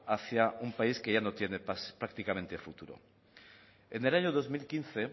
hacia un país que ya no tiene prácticamente futuro en el año dos mil quince